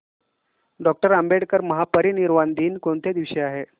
doctor Ambedkar महापरिनिर्वाण दिन कोणत्या दिवशी आहे